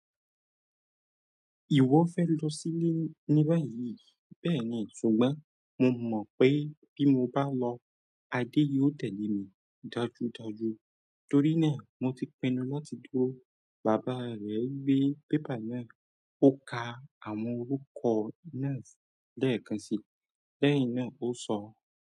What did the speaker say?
"Ìwọ fẹ́ lọ sílé níba yìí?" Bẹ́ẹ̀ni, ṣùgbọ́n mo mọ̀ pé bí mo bá lọ, Adé yóò tẹ̀lé mi dájúdájú torí náà mo ti pinnu láti tó bàbá rẹ̀ gbé pépà náà. Ó ka àwọn orúkọ náà lẹ́ẹ̀kan si, lẹ́yìn náà ó sọ.